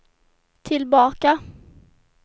tillbaka